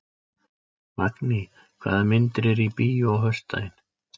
Magný, hvaða myndir eru í bíó á föstudaginn?